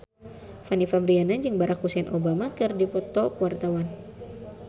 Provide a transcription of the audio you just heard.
Fanny Fabriana jeung Barack Hussein Obama keur dipoto ku wartawan